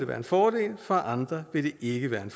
være en fordel for andre vil det ikke være en